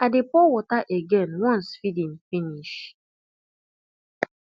i dey pour water again once feeding finish